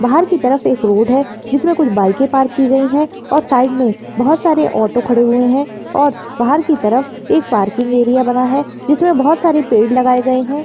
बाहर की तरफ़ एक रोड है जिसमे कुछ बाइके पार्क कियी गयी है और साइड में बहुत सारे ऑटो खड़े हुए है और बाहर की तरफ़ एक पार्किंग एरिया बना है जिसमे बहुत सारे पेड़ लगाए गये है।